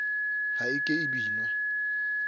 ha e ke e binwa